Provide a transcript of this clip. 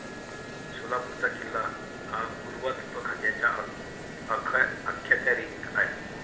सोलापूरचा किल्ला हा पुरातत्वखात्याच्या अखत्यारीत आहे.